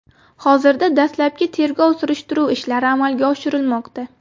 Hozirda dastlabki tergov-surishtiruv ishlari amalga oshirilmoqda.